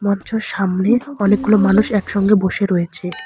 মঞ্চর সামনে অনেকগুলো মানুষ একসঙ্গে বসে রয়েছে।